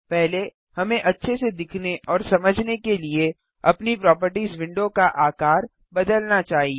पहले हमें अच्छे से दिखने और समझने के लिए अपनी प्रोपर्टिज विंडो का आकार बदलना चाहिए